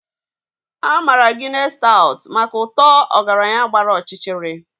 A maara Guinness Stout maka ụtọ ọgaranya gbara ọchịchịrị.